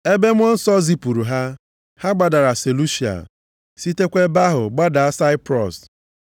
Ebe Mmụọ Nsọ zipụrụ ha, ha gbadara Selusia, sitekwa ebe ahụ gbadaa Saiprọs.